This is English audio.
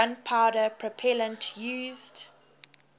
gunpowder propellant used